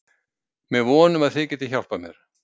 Með von um að þið getið hjálpað mér.